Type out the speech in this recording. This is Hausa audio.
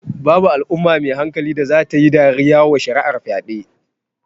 Babu Al'umma mai hankali da zata tayi dariya wa shari'ar fyaɗe